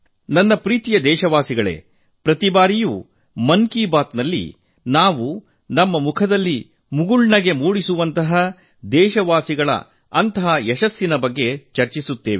ನನ್ನ ಪ್ರೀತಿಯ ದೇಶವಾಸಿಗಳೇ ಪ್ರತಿ ಬಾರಿಯೂ ಮನ್ ಕಿ ಬಾತ್ ನಲ್ಲಿ ನಮ್ಮ ಮುಖದಲ್ಲಿ ಮುಗುಳ್ನಗು ಮೂಡಿಸುವಂತಹ ದೇಶವಾಸಿಗಳ ಅಂತಹ ಯಶಸ್ಸಿನ ಬಗ್ಗೆ ನಾವು ಚರ್ಚಿಸುತ್ತೇವೆ